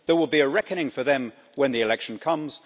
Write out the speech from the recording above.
There will be a reckoning for them when the election comes.